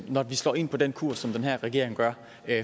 når vi slår ind på den kurs som den her regering gør